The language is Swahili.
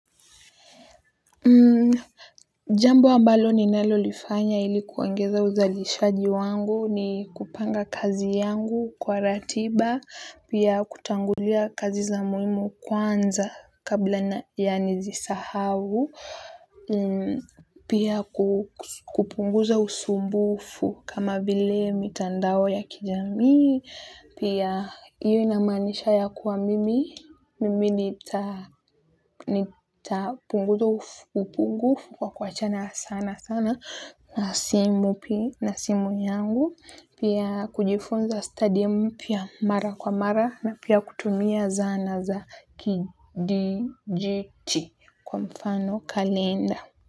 Jambo ambalo ninalolifanya ili kuongeza uzalishaji wangu ni kupanga kazi yangu kwa ratiba, pia kutangulia kazi za muhimu kwanza kabla ya nizisahau, pia kupunguza usumbufu kama vile mitandao ya kijamii, pia hiyo inamanisha ya kuwa mimi. Mimi nitapunguza upungufu kwa kuwachana sana sana na simu pia na simu yangu pia kujifunza study mpya mara kwa mara na pia kutumia zana za kidi jiti kwa mfano kalenda.